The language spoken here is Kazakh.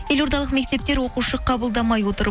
елордалық мектептер оқушы қабылдамай отыр